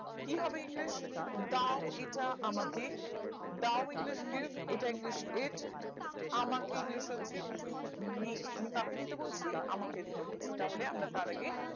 কি হবে english দাও এটা আমাকে দাও english gift এটা english it আমাকে english হচ্ছে to me আমি কাকে দিতে বলছি আমাকে দিতে বলছি তাহলে আমরা তার আগে